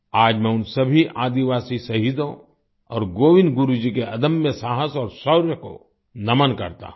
आज मैं उन सभी आदिवासी शहीदों और गोविन्द गुरु जी के अदम्य साहस और शौर्य को नमन करता हूँ